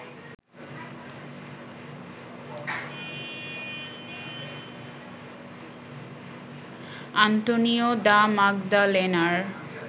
Antonio da মাগদালেনার